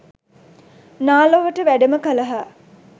නා ලොවට වැඩම කළහ.